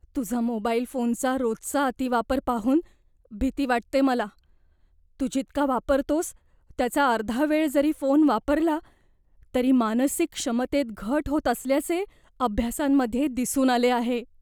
तुझा मोबाईल फोनचा रोजचा अतिवापर पाहून भीती वाटते मला. तू जितका वापरतोस त्याचा अर्धा वेळ जरी फोन वापरला तरी मानसिक क्षमतेत घट होत असल्याचे अभ्यासांमध्ये दिसून आले आहे.